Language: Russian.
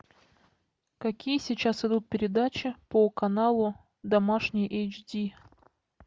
какие сейчас идут передачи по каналу домашний эйч ди